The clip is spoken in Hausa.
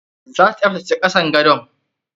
Zata tsaftace kasan gadon.